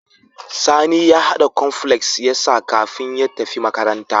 Sani ya hada cornflakes yasa kafin ya tafi makaranta